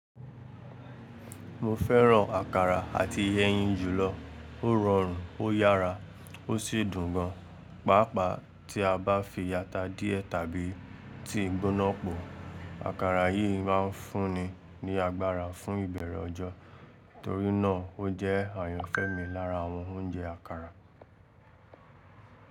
Mo fẹ́ràn àkàrà ati ẹyin jùlọ. Ó rọrùn, ó yára ó sì dùn gan. Pàápàá tí a bá fi ata díẹ̀ tàbí tea gbóná pò, àkàrà yìí ma ń fúnni ní agbára fún ìbẹ̀rẹ̀ ọjọ́. Torí náà, ó jẹ́ àyànfẹ́ mi lára àwọn oúnjẹ àkàrà.